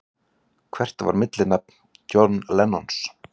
Hvert var millinafn Johns Lennon?